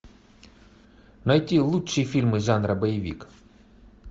найти лучшие фильмы жанра боевик